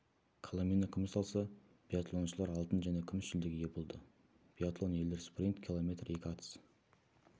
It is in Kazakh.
коломина күміс алса биатлоншылар алтын және күміс жүлдеге ие болды биатлон ерлер спринт километр екі атыс